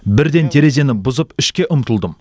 бірден терезені бұзып ішке ұмтылдым